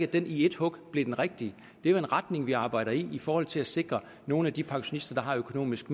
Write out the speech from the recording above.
den i et hug blev det rigtige men er jo en retning vi arbejder i i forhold til at sikre nogle af de pensionister der økonomisk